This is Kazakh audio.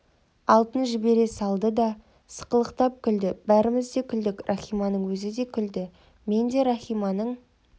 алтын жібере салды да сықылықтап күлді бәріміз де күлдік рахиманың өзі де күлді мен де рахиманың